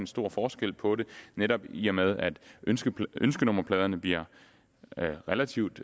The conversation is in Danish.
stor forskel på det netop i og med at ønskenummerpladerne bliver relativt